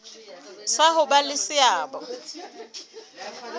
sa ho ba le seabo